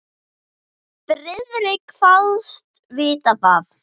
Friðrik kvaðst vita það.